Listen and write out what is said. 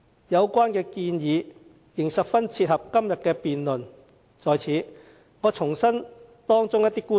有關建議十分切合今天的辯論，我在此重申其中一些觀點。